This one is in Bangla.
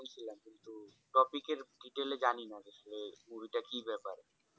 বা পিকে এর detail এ জানি না আসলে movie টা কি ব্যাপার